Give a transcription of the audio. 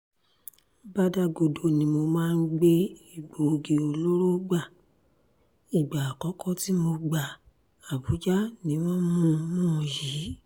bàdàgodo ni mo máa ń gbé egbòogi olóró gba ìgbà àkọ́kọ́ tí mo gba àbújá ni wọ́n mú mú yìí